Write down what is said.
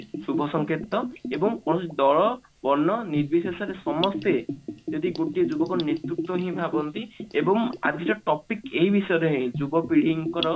ଶୁଭ ସଂକେତ ଏବଂ ଦଳ ବର୍ଣ୍ଣ ନିର୍ବିଶେଷରେ ସମସ୍ତେ ଜଡ ଗୋଟିଏ ଯୁବକ ନେତୃତ୍ଵ ହିଁ ଭାବନ୍ତି ଏବଂ ଆଜିର topic ଏଇ ବିଷୟରେ ହିଁ ଯୁବପିଢିଙ୍କର